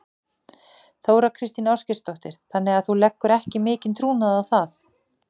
Þóra Kristín Ásgeirsdóttir: Þannig að þú leggur ekki mikinn trúnað á það?